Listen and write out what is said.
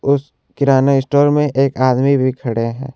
उस किराने स्टोर में एक आदमी भी खड़े हैं।